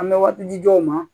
An bɛ waati di dɔw ma